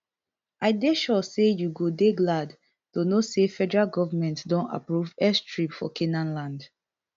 i dey sure say you go dey glad to know say federal goment don approve airstrip for canaanland